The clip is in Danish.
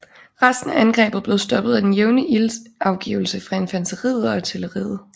Resten af angrebet blev stoppet af den jævne ildsafgivelse fra infanteriet og artilleriet